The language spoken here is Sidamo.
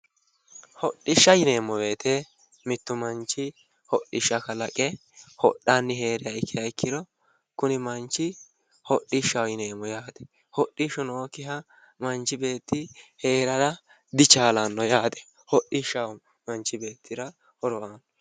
Hodhishsha yineemmo woyite mittu manchi hodhishsha kalaqe hodhanni heeranoha ikiha ikkiro kuni manchi hodhishshaho yineemmo yaate hodhishshu nookiha manchi beeti heerara dichaallano yaate hodhishshaho manchi beetira horo aannohu